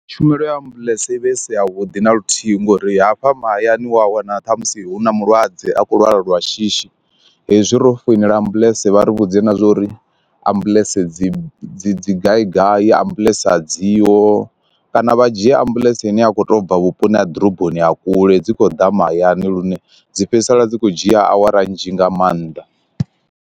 Tshumelo ya ambuḽentse i vha i si ya vhuḓi naluthihi ngori hafha mahayani wa wana ṱhamusi hu na mulwadze a khou lwala lwa shishi, hezwi ro foinela ambuḽentse vha ri vhudze na zwa uri ambuḽentse dzi dzi gai gai ya ambuḽentse dziho, kana vha dzhie ambuḽentse ine a kho to bva vhuponi ha ḓoroboni ha kule dzi kho ḓa mahayani lune dzi fhedzisela dzi kho dzhia awara nzhi nga maanḓa.